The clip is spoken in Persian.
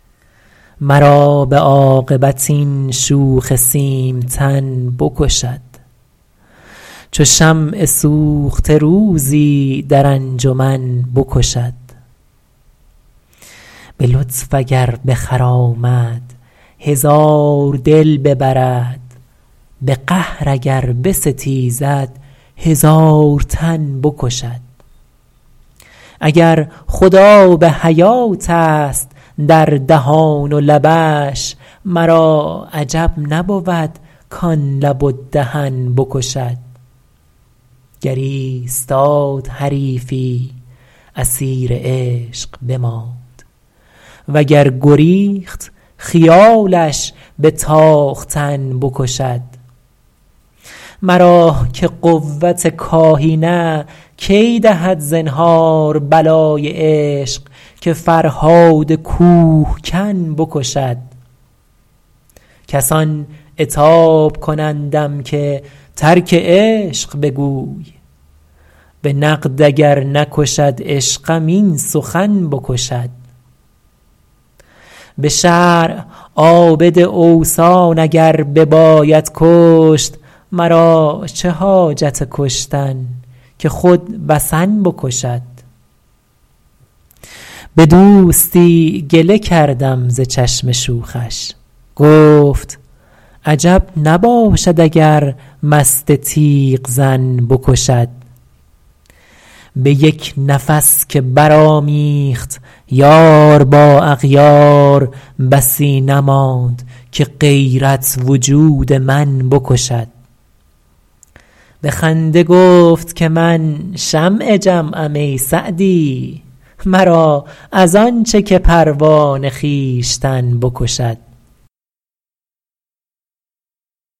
مرا به عاقبت این شوخ سیمتن بکشد چو شمع سوخته روزی در انجمن بکشد به لطف اگر بخرامد هزار دل ببرد به قهر اگر بستیزد هزار تن بکشد اگر خود آب حیاتست در دهان و لبش مرا عجب نبود کان لب و دهن بکشد گر ایستاد حریفی اسیر عشق بماند و گر گریخت خیالش به تاختن بکشد مرا که قوت کاهی نه کی دهد زنهار بلای عشق که فرهاد کوهکن بکشد کسان عتاب کنندم که ترک عشق بگوی به نقد اگر نکشد عشقم این سخن بکشد به شرع عابد اوثان اگر بباید کشت مرا چه حاجت کشتن که خود وثن بکشد به دوستی گله کردم ز چشم شوخش گفت عجب نباشد اگر مست تیغ زن بکشد به یک نفس که برآمیخت یار با اغیار بسی نماند که غیرت وجود من بکشد به خنده گفت که من شمع جمعم ای سعدی مرا از آن چه که پروانه خویشتن بکشد